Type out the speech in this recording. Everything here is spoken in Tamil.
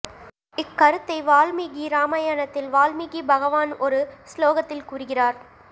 இக்கருத்தை வால்மீகி ராமாயணத்தில் வால்மீகி பகவான் ஒரு ஸ்லோகத்தில் கூறுகிறார்